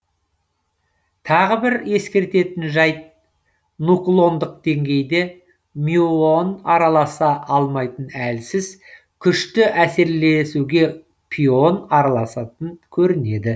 тағы бір ескеретін жәйт нуклондық деңгейде мюон араласа алмайтын әлсіз күшті әсерлесуге пион араласатын көрінеді